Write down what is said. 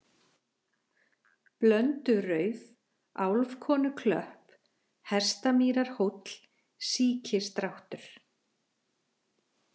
Blöndurauf, Álfkonuklöpp, Hestamýrarhóll, Síkisdráttur